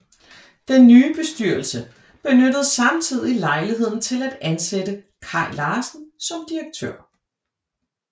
Den nye bestyrelse benyttede samtidig lejligheden til at ansætte Kaj Larsen som direktør